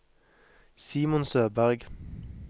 Simon Søberg